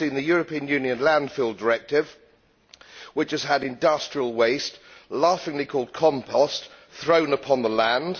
I have seen the European Union Landfill Directive, which has had industrial waste laughingly called compost' thrown upon the land.